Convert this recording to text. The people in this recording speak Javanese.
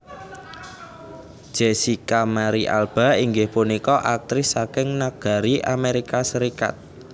Jessica Marie Alba inggih punika aktris saking negari Amérika Sarékat